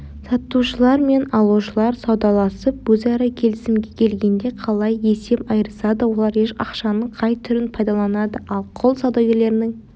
сатушылар мен алушылар саудаласып өзара келісімге келгенде қалай есеп айырысады олар ақшаның қай түрін пайдаланады ал құл саудагерлерінің